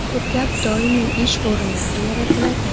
Ko‘plab doimiy ish o‘rinlari yaratiladi.